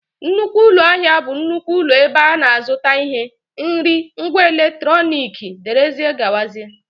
nnukwu ụlọ ahịa bụ nnukwu ụlọ ebe a na-azụta ihe, nri, ngwa eletrọnịkị wdg